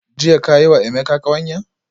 Jiya ka yi wa Emeka kawanya?